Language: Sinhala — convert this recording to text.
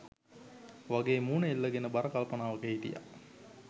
වගේ මූණ එල්ලගෙන බර කල්පනාවක හිටියා.